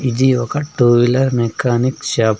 ఇది ఒక two wheeler mechanic shop .